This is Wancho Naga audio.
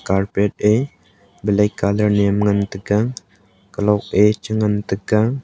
carpet e black colour niam ngan taiga kalok e chan ngan taga.